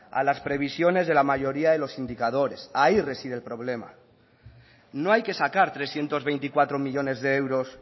a las presiones de la mayoría de los indicadores ahí reside el problema no hay que sacar trescientos veinticuatro millónes de euros